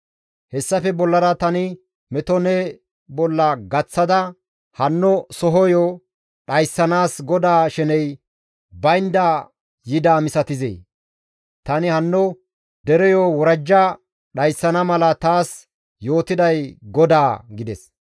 Hessafe bollara tani meto ne bolla gaththada hanno sohoyo dhayssanaas GODAA sheney baynda yidaa misatizee? Tani hanno dereyo worajja dhayssana mala taas yootiday GODAA» gides.